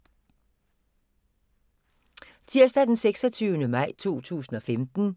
Tirsdag d. 26. maj 2015